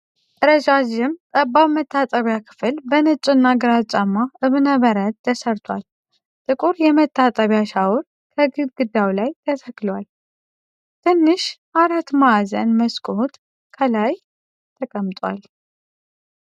ረዣዥም፣ ጠባብ መታጠቢያ ክፍል በነጭ እና ግራጫማ እብነበረድ ተሠርቷል። ጥቁር የመታጠቢያ ሻወር ከግድግዳው ላይ ተተክሏል። ትንሽ አራት ማዕዘን መስኮት ከላይ ተቀምጧል።